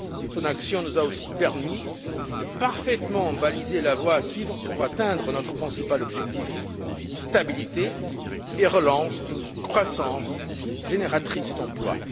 Son action nous a aussi permis de parfaitement baliser la voie à suivre pour atteindre nos principaux objectifs stabilité et relance d'une croissance génératrice d'emplois.